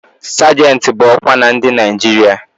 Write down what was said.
Sajentị bụ ọkwa na ndị Naịjirịa